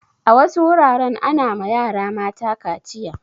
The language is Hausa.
A wasu wuraren ana ma yara mata kaciya.